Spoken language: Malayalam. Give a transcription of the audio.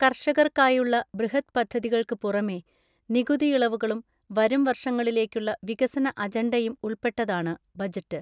കർഷകർക്കായുള്ള ബൃഹദ്പദ്ധതികൾക്ക് പുറമെ, നികുതിയിളവുകളും വരും വർഷങ്ങളിലേക്കുള്ള വികസന അജണ്ടയും ഉൾപ്പെട്ടതാണ് ബജറ്റ്.